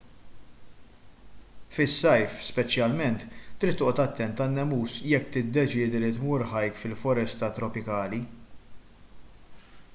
fis-sajf speċjalment trid toqgħod attent għan-nemus jekk tiddeċiedi li tmur hike fil-foresta tropikali